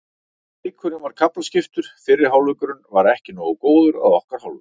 Leikurinn var kaflaskiptur, fyrri hálfleikurinn var ekki nógu góður að okkar hálfu.